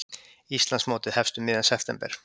Íslandsmótið hefst um miðjan september